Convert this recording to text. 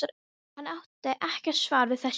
Hann átti ekkert svar við þessu.